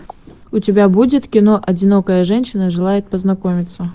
у тебя будет кино одинокая женщина желает познакомиться